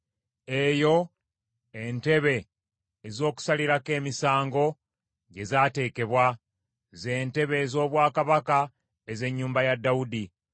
Eyo entebe ez’okusalirako emisango gye zaateekebwa; z’entebe ez’obwakabaka ez’ennyumba ya Dawudi.